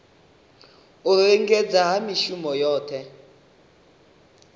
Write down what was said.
u lingedza ha mishongo yohe